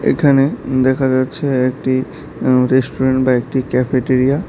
এখানে দেখা যাচ্ছে একটি উম রেষ্টুরেন বা একটি ক্যাফেটেরিয়া ।